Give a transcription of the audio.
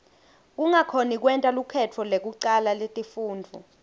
kungakhoni kwenta lukhetfo lekucala letifundvo